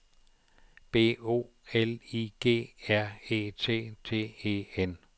B O L I G R E T T E N